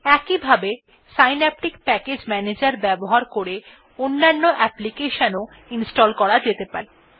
একইভাবে synaptic package ম্যানেজের ব্যবহার করে অন্যান্য application ও ইনস্টল করা যেতে পারে